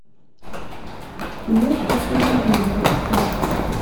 кино воспроизведение поставь